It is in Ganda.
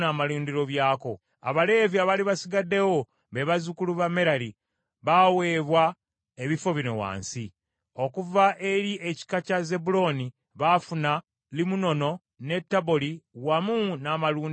Abaleevi abaali basigaddewo, be bazzukulu ba Merali, baaweebwa ebifo bino wansi: okuva eri ekika kya Zebbulooni baafuna Limunono ne Taboli wamu n’amalundiro byabyo;